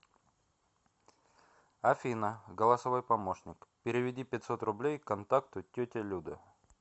афина голосовой помощник переведи пятьсот рублей контакту тетя люда